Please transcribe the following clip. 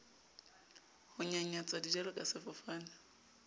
ho nyanyatsa dijalo ka sefofane